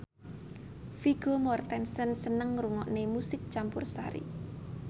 Vigo Mortensen seneng ngrungokne musik campursari